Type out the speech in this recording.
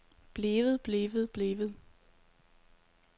blevet blevet blevet